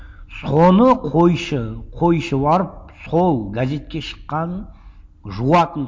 соны қойшы қойшы барып сол газетке шыққанын жуатын